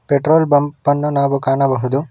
Petrol pump ಅನ್ನು ನಾವು ಕಾಣಬಹುದು.